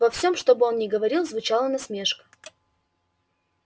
во всём что бы он ни говорил звучала насмешка